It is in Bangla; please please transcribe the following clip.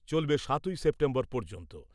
চলবে সাতই সেপ্টেম্বর পর্যন্ত।